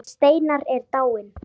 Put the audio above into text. Hann Steinar er dáinn.